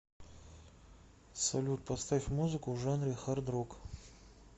салют поставь музыку в жанре хардрок